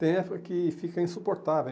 Tem época que fica insuportável.